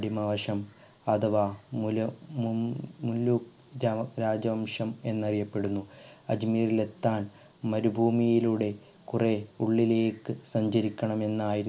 അഥവാ മൂല മൂ ഉം രാജവംശം എന്നറിയപ്പെടുന്നു അജ്മീരിൽ എത്താൻ മരുഭൂമിയിലൂടെ കുറെ ഉള്ളിലേക്ക് സഞ്ചരിക്കണം എന്നായിരുന്നു